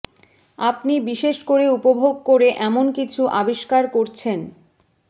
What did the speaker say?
আপনি বিশেষ করে উপভোগ করে এমন কিছু আবিষ্কার করছেন